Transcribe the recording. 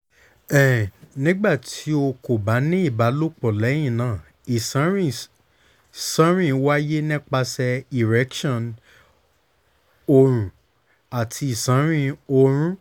um nigbati o ko ba ni ibalopo lẹhinna iṣanrin ṣanrin waye nipasẹ erection orun ati iṣanrin oorun